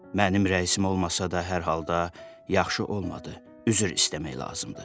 Mənim rəisim olmasa da hər halda yaxşı olmadı, üzr istəmək lazımdır.